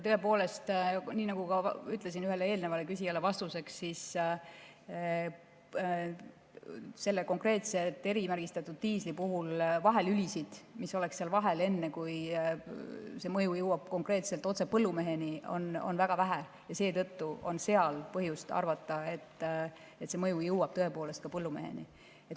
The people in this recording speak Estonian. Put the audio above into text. Tõepoolest, nii nagu ka ütlesin ühele eelnevale küsijale vastuseks, siis selle konkreetse erimärgistatud diisli puhul vahelülisid, mis oleks seal vahel, enne kui see mõju jõuab konkreetselt otse põllumeheni, on väga vähe ja seetõttu on seal põhjust arvata, et see mõju jõuab tõepoolest ka põllumeheni.